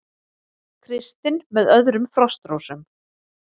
Kristinn með öðrum Frostrósum